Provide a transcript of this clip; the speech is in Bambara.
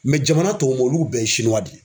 jamana tɔw bo olu bɛɛ ye sinuwa de ye.